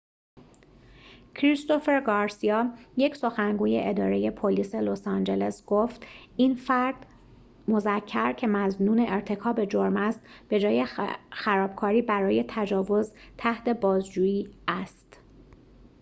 کریستوفر گارسیا یک سخنگوی اداره پلیس لس‌آنجلس گفت این فرد مذکر که مظنون ارتکاب جرم است به‌جای خرابکاری برای تجاوز تحت بازجویی است